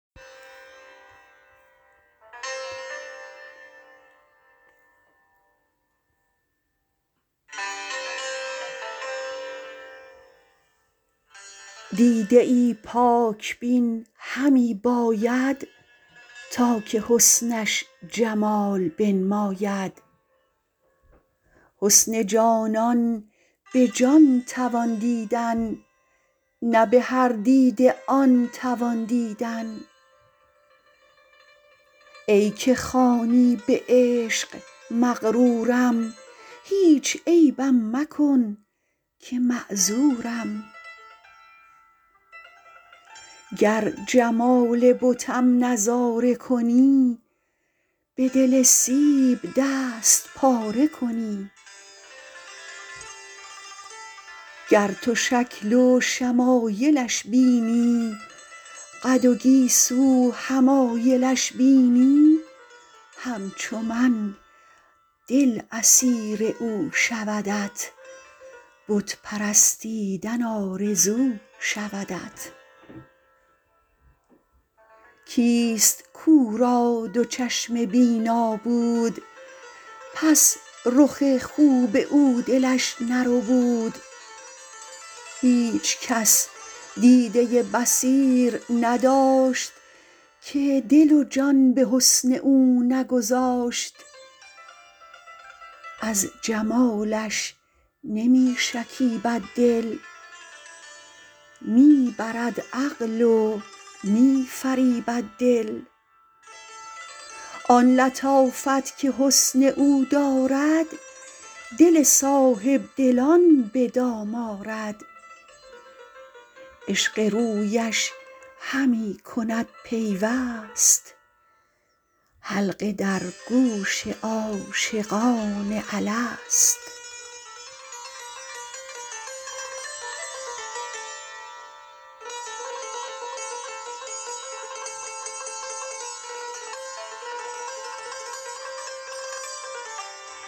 دیده ای پاک بین همی باید تا که حسنش جمال بنماید حسن جانان به جان توان دیدن نه به هر دیده آن توان دیدن ای که خوانی به عشق مغرورم هیچ عیبم مکن که معذورم گر جمال بتم نظاره کنی بدل سیب دست پاره کنی گر تو شکل و شمایلش بینی قد و گیسو حمایلش بینی همچو من دل اسیر او شودت بت پرستیدن آرزو شودت کیست کو را دو چشم بینا بود پس رخ خوب او دلش نربود هیچ کس دیده بصیر نداشت که دل و جان به حسن او نگذاشت از جمالش نمی شکیبد دل می برد عقل و می فریبد دل آن لطافت که حسن او دارد دل صاحبدلان به دام آرد عشق رویش همی کند پیوست حلقه در گوش عاشقان الست